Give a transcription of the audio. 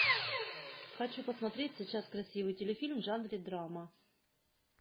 хочу посмотреть сейчас красивый теле фильм в жанре драма